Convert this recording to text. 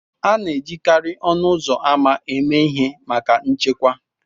A na-ejikarị ọnụ ụzọ ámá eme ihe maka nchekwa